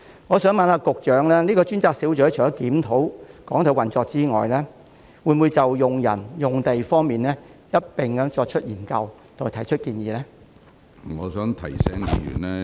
我想請問局長，這個專責小組除了檢討港台的運作外，會否就人手和用地方面一併進行研究及提出建議？